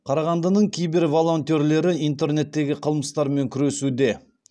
қарағандының киберволонтерлері интернеттегі қылмыстармен күресуде